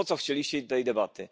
Po co chcieliście tej debaty?